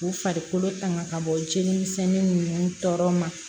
K'u farikolo tanga ka bɔ jeli misɛnnin ninnu tɔɔrɔ ma